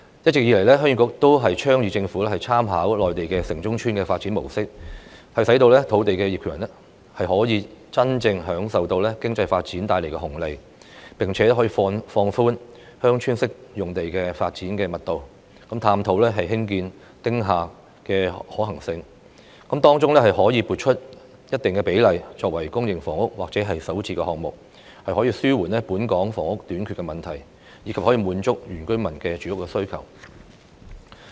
一直以來，鄉議局都建議政府參考內地"城中村"的發展模式，使土地業權人可以真正受惠於經濟發展帶來的紅利；此外，可以放寬鄉村式用地的發展密度，探討興建"丁廈"的可行性，並在當中撥出一定比例的土地作為公營房屋或首置項目，以紓緩本港房屋短缺的問題，以及滿足原居民的住屋需求。